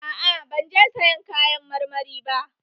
A'a ban je sayan kayan marmari